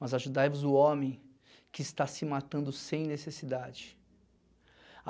mas ajudai-vos o homem que está se matando sem necessidade.